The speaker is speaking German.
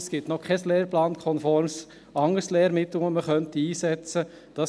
Es gibt noch kein lehrplankonformes anderes Lehrmittel, das man einsetzen könnte.